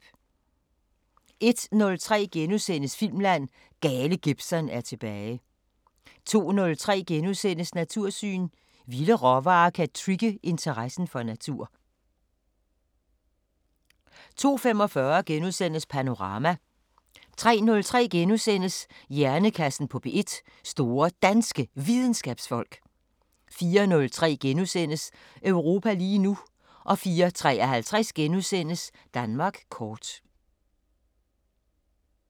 01:03: Filmland: Gale Gibson er tilbage * 02:03: Natursyn: Vilde råvarer kan trigge interessen for natur * 02:45: Panorama * 03:03: Hjernekassen på P1: Store Danske Videnskabsfolk * 04:03: Europa lige nu * 04:53: Danmark kort *